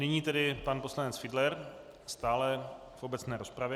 Nyní tedy pan poslanec Fiedler, stále v obecné rozpravě.